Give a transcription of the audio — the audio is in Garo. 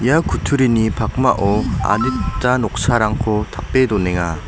ia kutturini pakmao adita noksarangko tape donenga.